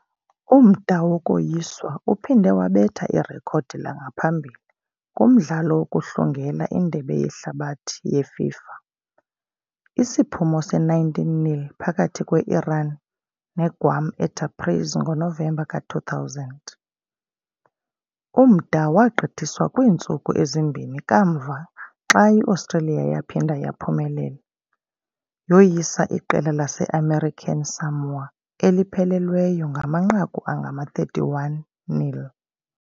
Umda wokoyiswa uphinde wabetha irekhodi langaphambili kumdlalo wokuhlungela iNdebe yeHlabathi yeFIFA, isiphumo se-19-0 phakathi kwe-Iran neGuam eTabriz ngoNovemba ka-2000. Umda wagqithiswa kwiintsuku ezimbini kamva xa i-Australia yaphinda yaphumelela, yoyisa iqela lase-American Samoa eliphelelweyo ngamanqaku angama-31-0.